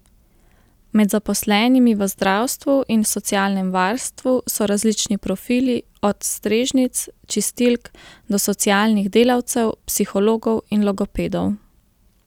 Med zaposlenimi v zdravstvu in socialnem varstvu so različni profili, od strežnic, čistilk do socialnih delavcev, psihologov in logopedov.